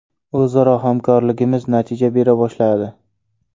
O‘zaro hamkorligimiz natija bera boshladi.